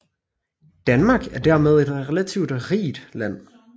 Danmark er dermed et relativt rigt land